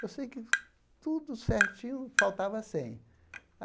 Eu sei que tudo certinho, faltava cem.